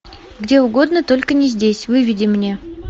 где угодно только не здесь выведи мне